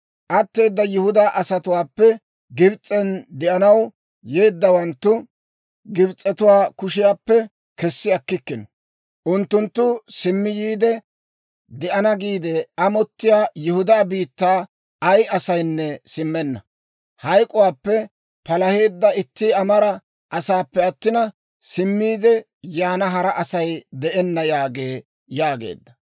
Atteedda Yihudaa asatuwaappe Gibs'en de'anaw yeeddawanttu Gibs'etuwaa kushiyaappe kessi akkikkino. Unttunttu simmi yiide de'ana giide amottiyaa Yihudaa biittaa ay asaynne simmenna; hayk'k'uwaappe palaheedda itti amara asaappe attina, simmiide yaana hara Asay de'enna yaagee» yaageedda.